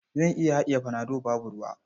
Zan iya haɗiye panado babu ruwa.